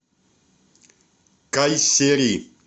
кайсери